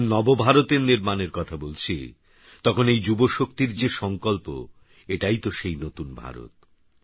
যখননবভারতএরনির্মাণেরকথাবলছি তখনএইযুবশক্তিরযেসংকল্প এটাইতোসেইনতুনভারত